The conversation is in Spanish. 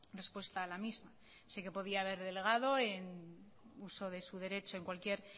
respuesta a la misma sé que podía haber delegado en uso de su derecho en cualquier